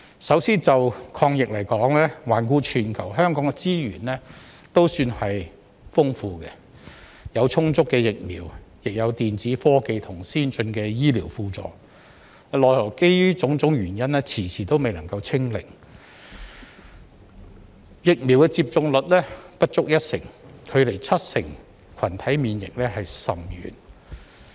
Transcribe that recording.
首先，就抗疫而言，環顧全球，香港的資源亦算豐富，有充足的疫苗，也有電子科技及先進的醫療輔助，奈何基於種種原因，遲遲未能"清零"，疫苗接種率仍不足一成，距離七成群體免疫甚遠。